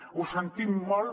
ho sentim molt